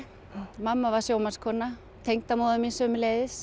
mamma var sjómannskona tengdamóðir mín sömuleiðis